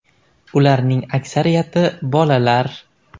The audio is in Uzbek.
Ularning aksariyati bolalar.